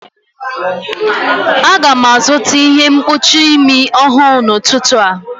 Aga m azụta ihe mkpuchi imi ọhụrụ n'ụtụtụ a